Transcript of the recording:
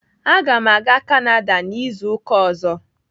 Aga m aga Kanada n'izu ụka ọzọ.